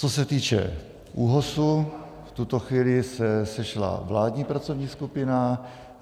Co se týče ÚOHS, v tuto chvíli se sešla vládní pracovní skupina.